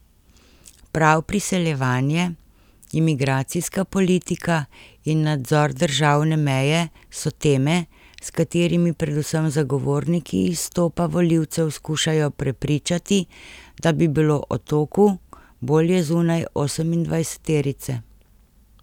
Prav priseljevanje, imigracijska politika in nadzor državne meje so teme, s katerimi predvsem zagovorniki izstopa volivce skušajo prepričati, da bi bilo Otoku bolje zunaj osemindvajseterice.